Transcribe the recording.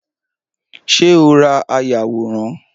Ṣé o ra ayàwòrán?